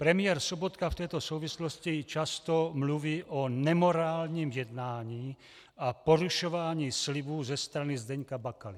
Premiér Sobotka v této souvislosti často mluví o nemorálním jednání a porušování slibů ze strany Zdeňka Bakaly.